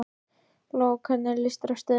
Lóa: Hvernig líst þér á stöðuna?